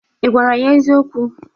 Ị gwara ya eziokwu?